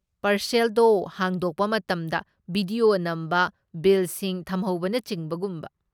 ꯄꯥꯔꯁꯦꯜꯗꯣ ꯍꯥꯡꯗꯣꯛꯄ ꯃꯇꯝꯗ ꯕꯤꯗꯤꯑꯣ ꯅꯝꯕ, ꯕꯤꯜꯁꯤꯡ ꯊꯝꯍꯧꯕꯅꯆꯤꯡꯕ ꯒꯨꯝꯕ꯫